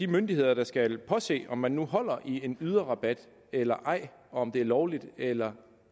myndighed der skal påse om man nu holder i en yderrabat eller ej og om det er lovligt eller